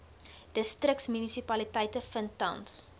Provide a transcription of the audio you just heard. distriksmunisipaliteite vind tans